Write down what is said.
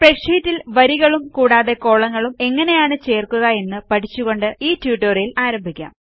സ്പ്രെഡ്ഷീറ്റിൽ വരികളും കൂടാതെ കോളങ്ങളും എങ്ങനെയാണ് ചേർക്കുക എന്ന് പഠിച്ചുകൊണ്ട് ഈ ട്യൂട്ടോറിയൽ ആരംഭിക്കാം